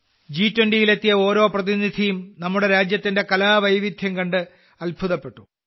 ജി20യിൽ എത്തിയ ഓരോ പ്രതിനിധിയും നമ്മുടെ രാജ്യത്തിന്റെ കലാവൈവിധ്യം കണ്ട് അത്ഭുതപ്പെട്ടു